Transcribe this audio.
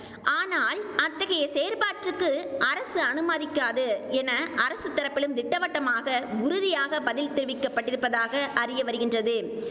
ஆனால் அத்தகைய செயற்பாட்டிற்கு அரசு அனுமதிக்காது என அரசு தரப்பிலும் திட்டவட்டமாக உறுதியாக பதில் தெரிவிக்கப்பட்டிருப்பதாக அறிய வருகின்றது